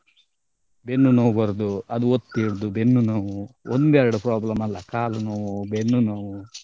ಬೆನ್ನು ನೋವು ಬರುದು ಅದು ಒತ್ತಿ ಹಿಡ್ದು ಬೆನ್ನು ನೋವು ಒಂದೆರಡು problem ಅಲ್ಲ ಕಾಲು ನೋವು ಬೆನ್ನು ನೋವು.